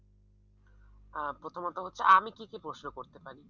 আহ প্রথমত হচ্ছে আমি কি কি প্রশ্ন করতে পারি?